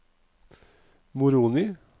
Moroni